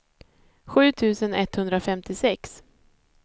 sju tusen etthundrafemtiosex